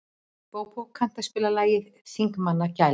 Bóbó, kanntu að spila lagið „Þingmannagæla“?